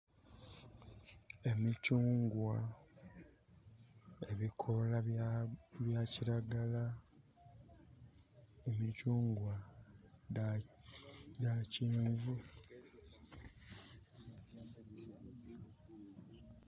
Emicungwa ebikola bya kiragala, emicungwa dha kyenvu